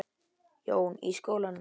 Jón: Í skólanum?